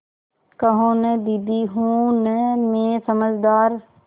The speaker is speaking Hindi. कहो न दीदी हूँ न मैं समझदार